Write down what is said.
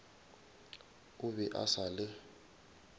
o be a sa le